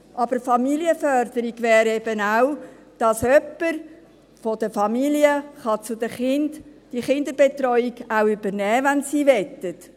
Aber Familienförderung wäre eben auch, dass jemand von der Familie diese Kinderbetreuung auch übernehmen könnte, wenn sie möchten.